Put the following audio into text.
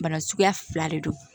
Bana suguya fila de don